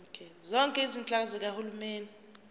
zonke izinhlaka zikahulumeni